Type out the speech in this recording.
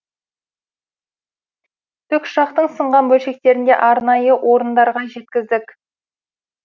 тікұшақтың сынған бөлшектерінде арнайы орындарға жеткіздік